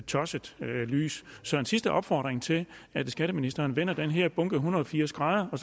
tosset lys så en sidste opfordring til at skatteministeren vender den her bunke en hundrede og firs grader og